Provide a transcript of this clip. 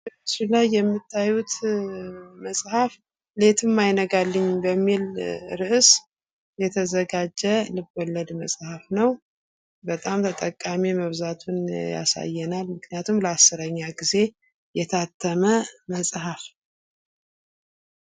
በምስሉ ላይ የምታዩት መፅሀፍ ሌቱም አይነጋልኝ በሚል ርዕስ የተዘጋጀ ልብ ወለድ መፅሀፍ ነዉ። በጣም ተጠቃሚ መብዛቱን ያሳያል። ምክንያቱም ለ 10ኛ ጊዜ የታተመ መፅሀፍ ነዉ።